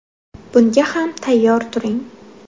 Bunga ham tayyor turing.